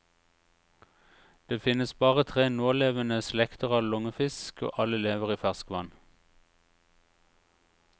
Det finnes bare tre nålevende slekter av lungefisk, og alle lever i ferskvann.